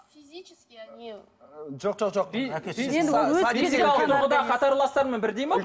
жоқ жоқ жоқ қатарластарымен бірдей ме